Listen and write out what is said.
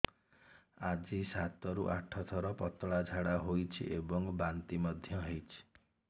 ଆଜି ସାତରୁ ଆଠ ଥର ପତଳା ଝାଡ଼ା ହୋଇଛି ଏବଂ ବାନ୍ତି ମଧ୍ୟ ହେଇଛି